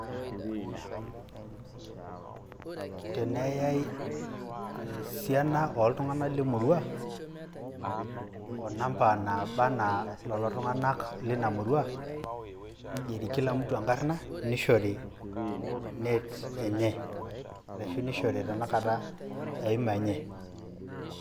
Teneyai esiana oltung'anak lemurua, onamba naba ena lelo tung'anak lina murua, nigeri kila mtu enkarna, nishori net enye. Ashu nishori tanakata eima enye.